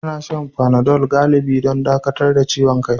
Ana shan fanadol galibi don dakatar da ciwon kai.